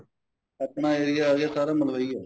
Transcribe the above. ਆਪਣਾ area ਆ ਗਿਆ ਸਾਰਾ ਮਲਵਈ ਏ